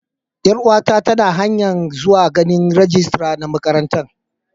Yar uwa ta ta na hanya'n zuwa ganin rijistira na makarantan.